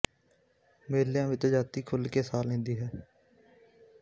ਮੇਲਿਆਂ ਵਿੱਚ ਜਾਤੀ ਖੁੱਲ੍ਹ ਕੇ ਸਾਹ ਲੈਂਦੀ ਹੈ